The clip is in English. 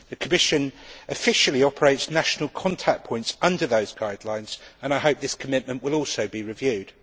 The Commission officially operates national contact points under those guidelines, and I hope this commitment will also be reviewed.